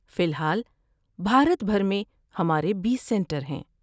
فی الحال، بھارت بھر میں ہمارے بیس سنٹر ہیں